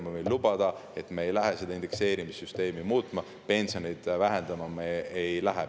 Ma võin lubada, et me ei lähe seda indekseerimissüsteemi muutma, me ei lähe pensione vähendama.